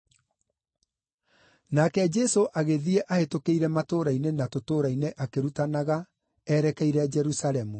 Nake Jesũ agĩthiĩ ahĩtũkĩire matũũra-inĩ na tũtũũra-inĩ akĩrutanaga erekeire Jerusalemu.